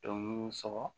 Dɔnku sɔgɔ